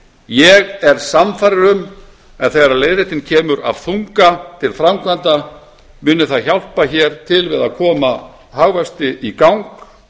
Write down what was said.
ég er sannfærður um að þegar leiðrétting kemur af þunga til framkvæmda muni það hjálpa hér til við að koma hagvexti í gang